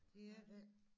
Det er der ikke